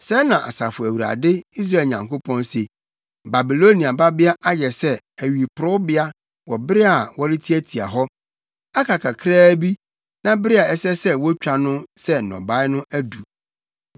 Sɛɛ na Asafo Awurade, Israel Nyankopɔn, se: “Babilonia Babea ayɛ sɛ, awiporowbea wɔ bere a wɔretiatia hɔ. Aka kakraa bi, na bere a ɛsɛ sɛ wotwa no sɛ nnɔbae no adu.”